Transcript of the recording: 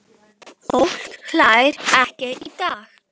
Fólk hlær ekki í dag.